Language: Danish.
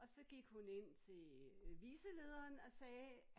Og så gik hun ind til øh vicelederen og sagde